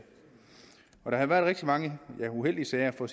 der har været rigtig mange uheldige sager på